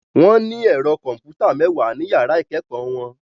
Wọ́n ní ẹ̀rọ kọ̀m̀pútà mẹ́wàá ní yàrá ìkẹ́kọ̀ọ́ wọn.